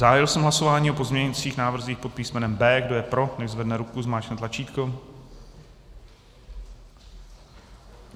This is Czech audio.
Zahájil jsem hlasování o pozměňovacích návrzích pod písmenem B. Kdo je pro, nechť zvedne ruku, zmáčkne tlačítko.